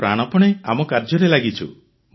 ଆମେ ପ୍ରାଣପଣେ ଆମ କାର୍ଯ୍ୟରେ ଲାଗିଛୁ